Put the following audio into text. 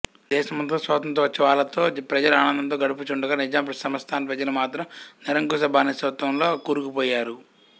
దేశమంతటా స్వాతంత్ర్యోత్సవాలతో ప్రజలు ఆనందంతో గడుపుచుండగా నిజాం సంస్థాన ప్రజలు మాత్రం నిరంకుశ బానిసత్వంలో కూరుకుపోయారు